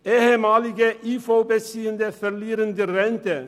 Ehemalige IV-Beziehende verlieren die Rente.